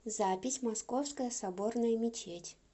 запись московская соборная мечеть